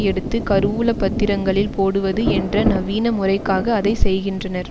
எடுத்து கருவூல பத்திரங்களில் போடுவது என்ற நவீன முறைக்காக அதை செய்கின்றனர்